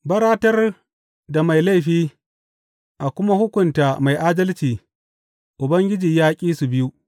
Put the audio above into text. Baratar da mai laifi a kuma hukunta mai adalci, Ubangiji ya ƙi su biyu.